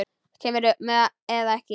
Kemurðu með eða ekki.